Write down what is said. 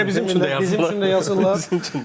Hamı elə bizim üçün də yazırlar.